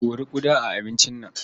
Kori ƙuda a abincin nan.